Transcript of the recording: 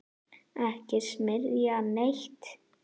Ekki smyrja neitt.